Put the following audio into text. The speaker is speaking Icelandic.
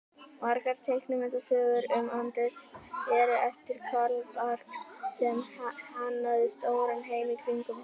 Margar teiknimyndasögurnar um Andrés eru eftir Carl Barks sem hannaði stóran heim í kringum hann.